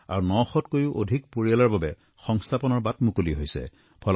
আৰু ৯০০ত কৈও অধিক পৰিয়ালৰ বাবে সংস্থাপনৰ বাট মুকলি হৈছে